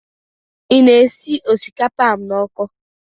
Ị na-esi osikapa ahụ n'ọkụ?